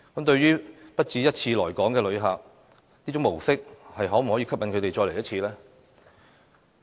對於不只一次來港的旅客，這種模式可否吸引他們再次訪港呢？